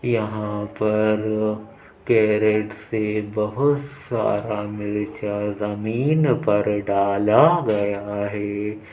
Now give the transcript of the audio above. यहाँ पर कैरेट से बहोत सारा मिर्चा जमीन पर डाला गया है।